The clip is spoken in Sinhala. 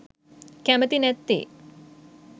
කැමති නැත්තේ.